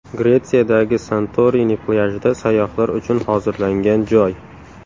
Gretsiyadagi Santorini plyajida sayyohlar uchun hozirlangan joy.